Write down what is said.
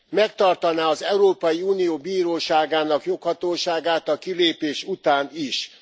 Megtartaná az Európai Unió Bíróságának joghatóságát a kilépés után is.